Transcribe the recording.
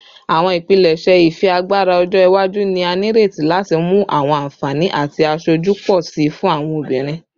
Awọn ipilẹṣẹ ifiagbara ọjọ iwaju ni a nireti lati mu awọn anfani ati aṣoju pọ si fun awọn obinrin